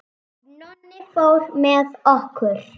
Nonni fór með okkur.